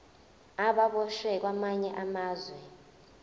ababoshwe kwamanye amazwe